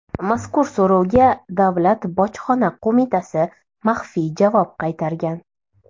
Mazkur so‘rovga Davlat bojxona qo‘mitasi maxfiy javob qaytargan .